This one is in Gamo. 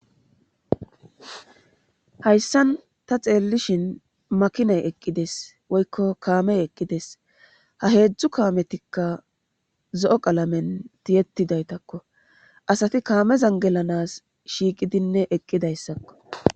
Hayssan ta xeellishin makinay eqqides woykko kaame eqqides ha heedzdzu kaametikka zo7o qalamen tiyetidaytakko asati kaamezan gelanas shiiqidinne eqqidayssakko.